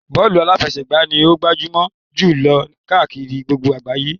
Bọ́ọ̀lù aláfẹsẹ̀gbá ni ó gbajúmọ̀ jù lọ káàkiri gbogbo àgbáyé.